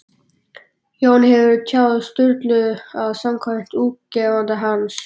Jón hefur tjáð Sturlu að samkvæmt útgefanda hans